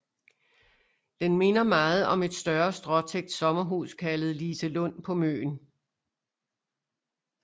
Det minder meget om et større stråtækt sommerhus kaldet Liselund på Møn